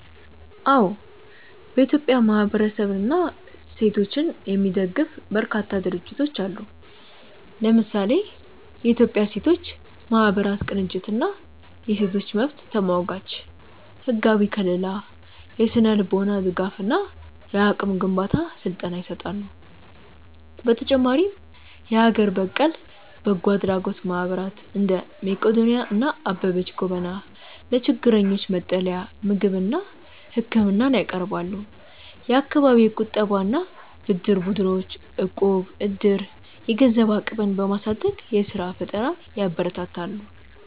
አዎ፥ በኢትዮጵያ ማህበረሰብንና ሴቶችን የሚደግፉ በርካታ ድርጅቶች አሉ። ለምሳሌ፦ የኢትዮጵያ ሴቶች ማህበራት ቅንጅት እና የሴቶች መብት ተሟጋቾች፦ ህጋዊ ከልላ፣ የስነ-ልቦና ድጋፍ እና የአቅም ግንባታ ስልጠና ይሰጣሉ። በተጨማሪም የሀገር በቀል በጎ አድራጎት ማህበራት (እንደ መቅዶንያ እና አበበች ጎበና) ለችግረኞች መጠለያ፣ ምግብና ህክምና ያቀርባሉ። የአካባቢ የቁጠባና ብድር ቡድኖች (እቁብ/ዕድር)፦ የገንዘብ አቅምን በማሳደግ የስራ ፈጠራን ያበረታታሉ።